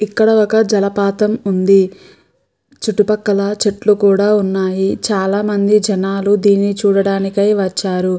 ఇక్కడ ఒక జలపాతం ఉంది. చుట్టుపక్కల చెట్లు కూడా ఉన్నాయి. చాలామంది జనాలు దీనిని చూడడానికై వచ్చారు.